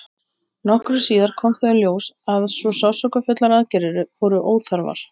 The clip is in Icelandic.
Nokkru síðar kom þó í ljós að svo sársaukafullar aðgerðir voru óþarfar.